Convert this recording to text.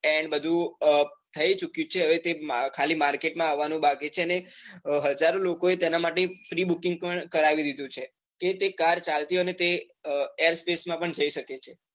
એ બધું થઈ ચુક્યું છે હવે તે ખાલી market માં આવાનું બાકી છે અને હજાર લોકો એ તેના માટે pre booking પણ કરાવી દીધું છે કે તે car ચાલતી હોય ને તે air space માં પણ જઈ સકે છે.